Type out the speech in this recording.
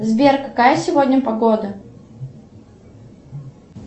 сбер какая сегодня погода